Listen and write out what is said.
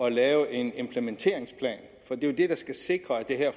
at lave en implementeringsplan det er jo det der skal sikre at det her